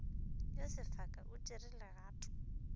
yo sefaka o tšere legato